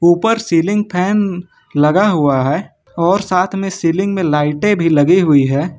ऊपर ceiling fan लगा हुआ है और साथ में सीलिंग में लाइटें भी लगी हुई हैं।